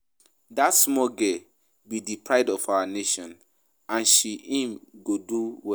Dat small girl be the pride of our nation and she um go do well